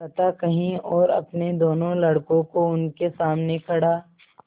कथा कही और अपने दोनों लड़कों को उनके सामने खड़ा